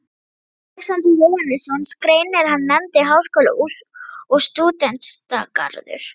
Alexander Jóhannesson grein, er hann nefndi Háskóli og Stúdentagarður.